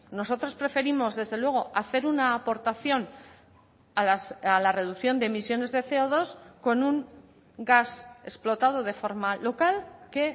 nosotros preferimos desde luego hacer una aportación a la reducción de emisiones de ce o dos con un gas explotado de forma local que